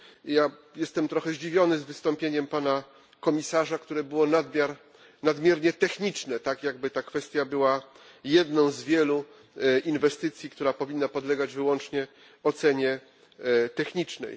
Ja jestem trochę zdziwiony wystąpieniem pana komisarza, które było nadmiernie techniczne, tak jakby ta kwestia była jedną z wielu inwestycji, która powinna podlegać wyłącznie ocenie technicznej.